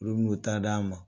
Olu bɛ n'u ta d'an ma.